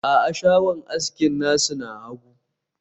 a'a, shagon aski nasu na hagu